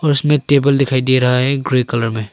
उसमे टेबल दिखाई दे रहा है ग्रे कलर में।